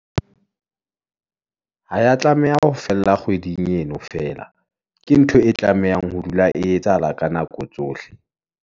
ha ya tlameha ho fella kgweding eno feela, ke ntho e tlamehang ho dula e etsahala ka nako tsohle.